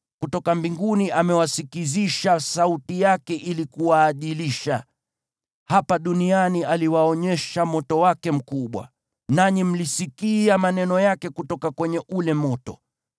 Kutoka mbinguni amewasikizisha sauti yake ili kuwaadilisha. Hapa duniani aliwaonyesha moto wake mkubwa, nanyi mlisikia maneno yake kutoka kwenye ule moto.